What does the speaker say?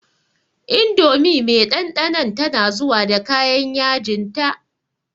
Indomie me ɗanɗanon tana zuwa da kayan yajinta.